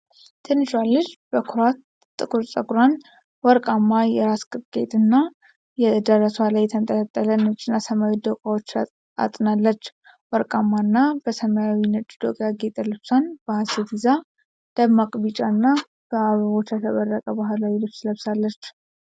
ትንሿ ልጅ በኩራት ጥቁር ፀጉሯን፣ ወርቃማ የራስ ቅብ ጌጥ እና በደረትዋ ላይ የተንጠለጠሉ ነጭና ሰማያዊ ዶቃዎችን አጥናለች። ወርቃማ እና በሰማያዊና ነጭ ዶቃ ያጌጠ ልብሷን በሃሴት ይዛ፣ ደማቅ ቢጫና በአበቦች ያሸበረቀ ባህላዊ ልብስ ለብሳለች።